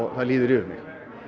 það líður yfir mig